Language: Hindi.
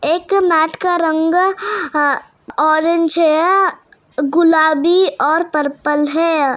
एक मैट का रंग ऑरेंज है गुलाबी और पर्पल है।